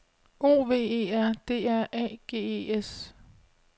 O V E R D R A G E S